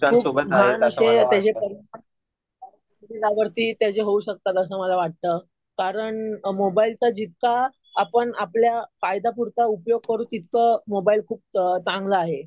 खूप घाण असे त्याचे परिणाम शरीरावरती त्याचे होऊ शकतात असं मला वाटतं. कारण मोबाईलचा जितका आपण आपल्या फायद्यापुरता उपयोग करू तितकं मोबाईल खूप चांगला आहे.